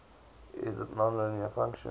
it is a nonlinear function